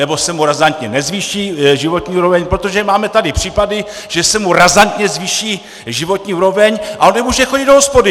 Nebo se mu razantně nezvýší životní úroveň, protože máme tady případy, že se mu razantně zvýší životní úroveň, ale nemůže chodit do hospody!